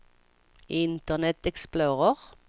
internet explorer